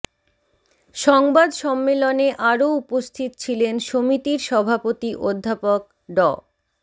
সংবাদ সম্মেলনে আরো উপস্থিত ছিলেন সমিতির সভাপতি অধ্যাপক ড